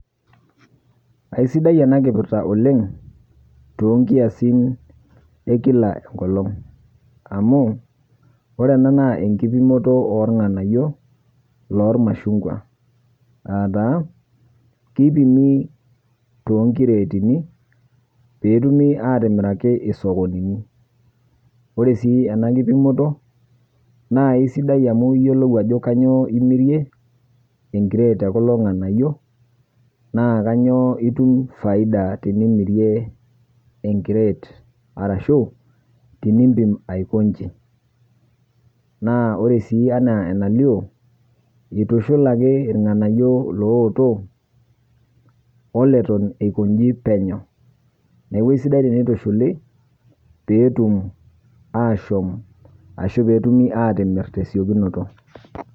Aisidai ena kipirta oleng' toonkiasin e kila enkolong' amu orena naa enkipimoto oolng'anayio loolmashungwa aataa keipimi toonkireetini peetumi aatimiraki isokonini. Ore sii ena kipimoto naaisidai amu iyiolou ajo kanyoo imirie enkireet e kulo ng'anayio naakanyoo itum faida tinimirie enkireet arashu tinimpim aiko inji. Naa ore sii anaaenalio eitushulaki ilng'anayio looto oleton eiko inji penyo. Neaku eisidai teneitushuli peetum aashom ashu peetumi atimirr tesiokinoto.